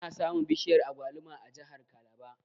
Ana samun bishiyar Agwaluma a jahar kalaba